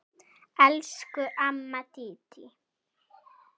Elsku amma Dídí.